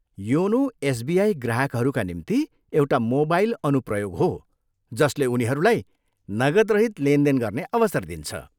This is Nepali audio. योनो एसबिआई ग्राहकहरूका निम्ति एउटा मोबाइल अनुप्रयोग हो जसले उनीहरूलाई नगदरहित लेनदेन गर्ने अवसर दिन्छ।